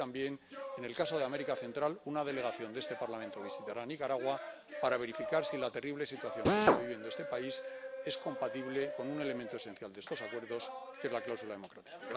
Y también, en el caso de América Central, una delegación de este Parlamento visitará Nicaragua para verificar si la terrible situación que está viviendo este país es compatible con un elemento esencial de estos acuerdos, que es la cláusula democrática.